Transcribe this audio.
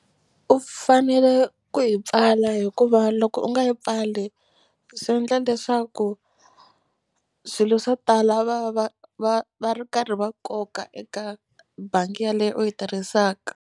U fanele ku yi pfala hikuva loko u nga yi pfali swi endla leswaku swilo swo tala va va va va ri karhi va koka eka bangi yaleyo u yi tirhisaka.